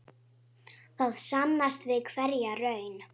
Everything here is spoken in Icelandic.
Það sannast við hverja raun.